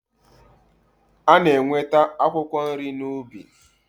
A na-enweta akwụkwọ nri n'ubi.